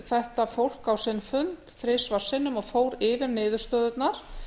þetta fólk á sinn fund þrisvar sinnum og fór yfir niðurstöðurnar